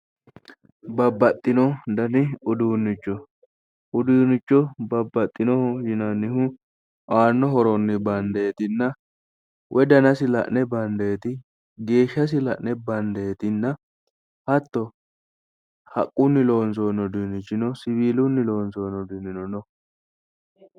Babbaxino danni uduunicho, uduunicho babbaxinoho yinnannihu aano horonni bandetinna woyi dannasi la'ne bandeti, geeshshasi la'ne bandetinna hatto haqquni loonsonni uduunichi no, siwilunni loonsoni uduunino no